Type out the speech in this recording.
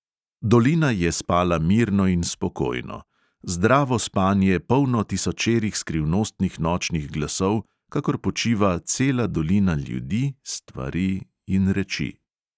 Dolina je spala mirno in spokojno, zdravo spanje, polno tisočerih skrivnostnih nočnih glasov, kakor počiva cela dolina ljudi, stvari in reči.